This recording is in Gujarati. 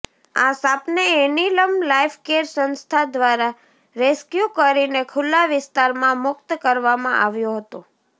આ સાપને એનિલમ લાઈફ કેર સંસ્થા દ્વારા રેસક્યુ કરીને ખુલ્લા વિસ્તારમાં મુક્ત કરવામાં આવ્યો હતો